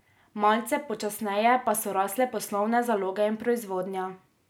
Malce počasneje pa so rasle poslovne zaloge in proizvodnja.